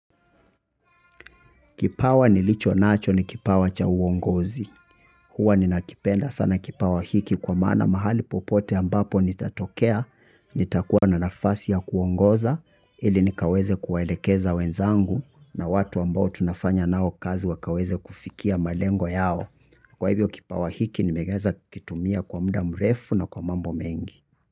Kipawa nilichonacho ni kipawa cha uongozi. Huwa ninakipenda sana kipawa hiki kwa maana mahali popote ambapo nitatokea, nitakuwa na nafasi ya kuongoza, ili nikaweze kuwaelekeza wenzangu na watu ambao tunafanya nao kazi wakaweze kufikia malengo yao. Kwa hivyo kipawa hiki nimeweza kuitumia kwa muda mrefu na kwa mambo mengi.